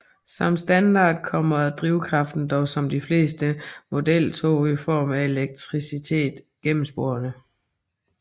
Som standard kommer drivkraften dog som ved de fleste modeltog i form af elektricitet gennem sporene